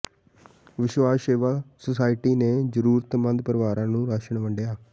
ਵਿਸ਼ਵਾਸ ਸੇਵਾ ਸੁਸਾਇਟੀ ਨੇ ਜ਼ਰੂਰਤਮੰਦ ਪਰਿਵਾਰਾਂ ਨੂੰ ਰਾਸ਼ਨ ਵੰਡਿਆ